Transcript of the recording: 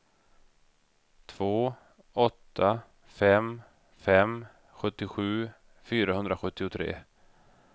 två åtta fem fem sjuttiosju fyrahundrasjuttiotre